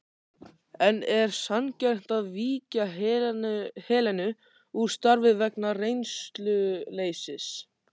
En er sanngjarnt að víkja Helenu úr starfi vegna reynsluleysis?